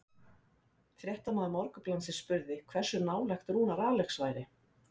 Fréttamaður Morgunblaðsins spurði hversu nálægt Rúnar Alex væri?